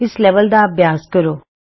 ਇਸ ਲੈਵਲ ਦਾ ਅਭਿਆਸ ਕਰੋ